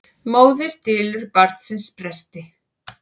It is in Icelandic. Móðir dylur barnsins bresti.